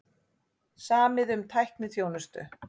Samið um tækniþjónustu